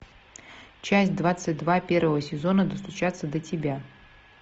часть двадцать два первого сезона достучаться до тебя